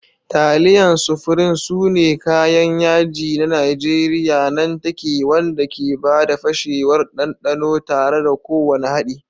Taliyan Sufrin sune kayan yaji na Najeriya nan take wanda ke ba da fashewar ɗanɗano tare da kowane haɗi.